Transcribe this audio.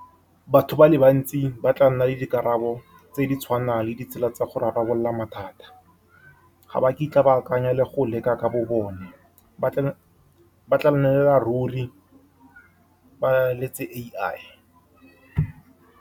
Batho ba le bantsi ba tla nna le dikarabo tse di tshwanang le ditsela tsa go rarabolola mathata. Ga ba kitla ba akanya le go leka ka bo bone ba , ba tla nnela ruri ba letse A_I.